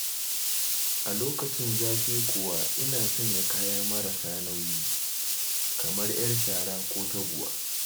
A lokacin zafi kuwa ina sanya kaya marasa nauyi, kamar 'yar shara ko taguwa.